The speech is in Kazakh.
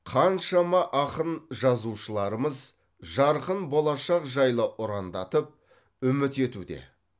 қаншама ақын жазушыларымыз жарқын болашақ жайлы ұрандатып үміт етуде